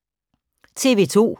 TV 2